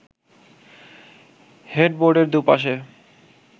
হেডবোর্ডের দুপাশে